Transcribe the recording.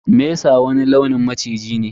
Mesa wani launin maciji ne.